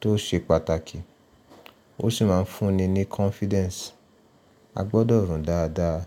tó ṣe pàtàkì, ó sì máa ń fún ni ní confidence. A gbọdọ̀ rùn dáadáa.